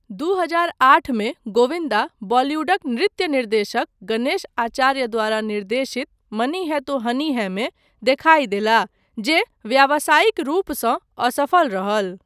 दू हजार आठ मे गोविन्दा बॉलीवुडक नृत्य निर्देशक गणेश आचार्य द्वारा निर्देशित 'मनी है तो हनी है' मे देखाइ देलाह जे व्यावासायिक रूपसँ असफल रहल।